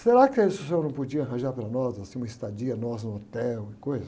Será que aí, se o senhor não podia arranjar para nós, assim, uma estadia, nós no hotel e coisa?